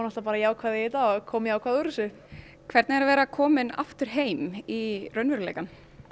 bara jákvæð í þetta og kom jákvæð úr þessu hvernig er að vera komin aftur heim í raunveruleikann